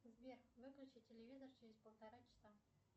сбер выключи телевизор через полтора часа